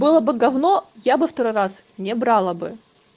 было бы говно я бы второй раз не брала бы